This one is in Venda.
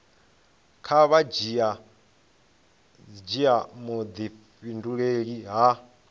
kha vha dzhia vhudifhinduleli ha